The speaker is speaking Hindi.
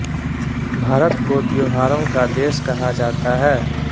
भारत को त्योहारों का देश कहा जाता है